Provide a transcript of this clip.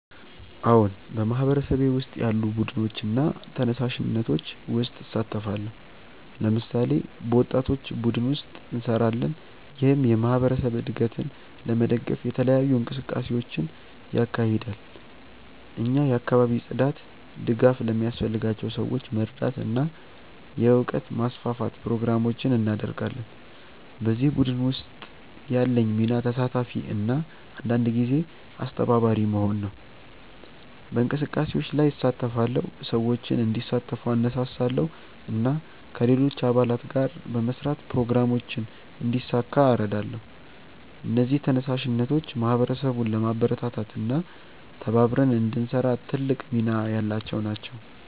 አዎን፣ በማህበረሰቤ ውስጥ ያሉ ቡድኖችና ተነሳሽነቶች ውስጥ እሳተፋለሁ። ለምሳሌ፣ በወጣቶች ቡድን ውስጥ እንሰራለን፣ ይህም የማህበረሰብ እድገትን ለመደገፍ የተለያዩ እንቅስቃሴዎችን ያካሂዳል። እኛ የአካባቢ ጽዳት፣ ድጋፍ ለሚያስፈልጋቸው ሰዎች መርዳት እና የእውቀት ማስፋፋት ፕሮግራሞችን እናደርጋለን። በዚህ ቡድን ውስጥ ያለኝ ሚና ተሳታፊ እና አንዳንድ ጊዜ አስተባባሪ መሆን ነው። በእንቅስቃሴዎች ላይ እሳተፋለሁ፣ ሰዎችን እንዲሳተፉ እነሳሳለሁ እና ከሌሎች አባላት ጋር በመስራት ፕሮግራሞችን እንዲሳካ እረዳለሁ። እነዚህ ተነሳሽነቶች ማህበረሰቡን ለማበረታታት እና ተባብረን እንድንሰራ ትልቅ ሚና ያላቸው ናቸው።